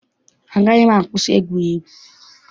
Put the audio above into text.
Agaghị m akwụsị egwuregwu.